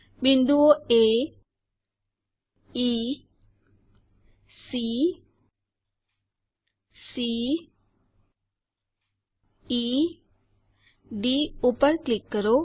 બિંદુઓ aecceડી પર ક્લિક કરો